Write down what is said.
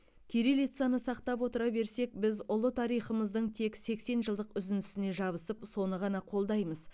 кириллицаны сақтап отыра берсек біз ұлы тарихымыздың тек сексен жылдық үзіндісіне жабысып соны ғана қолдаймыз